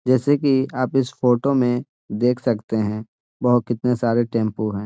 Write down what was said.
जेसे कि आप इस फोटो में देख सकते हैं वह कितने सारे टेम्पो हैं |